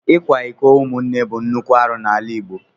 Ikwa iko umunne bụ nnukwu arụ n'ala Igbo.